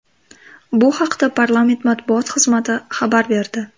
Bu haqda Parlament matbuot xizmati xabar berdi .